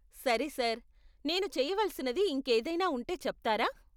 సరే సార్, నేను చేయవలసినది ఇంకేదైనా ఉంటే చెప్తారా?